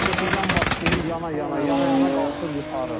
Çötükdən başlayır, yana-yana, yana-yana qalxır yuxarı.